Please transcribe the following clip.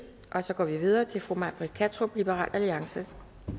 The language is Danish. så går vi videre til fru may britt kattrup liberal alliance